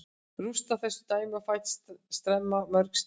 Rústa þessu dæmi, fæ tremma mörg stig.